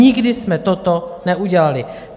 Nikdy jsme toto neudělali.